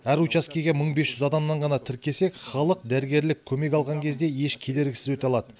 әр учаскеге мың бес жүз адамнан ғана тіркесек халық дәрігерлік көмек алған кезде еш кедергісіз өте алады